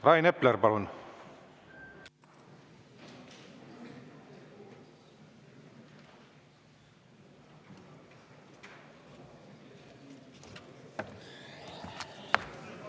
Rain Epler, palun!